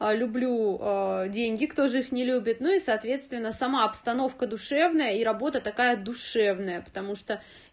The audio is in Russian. люблю деньги кто же их не любит ну и соответственно сама обстановка душевная и работа такая душевная потому что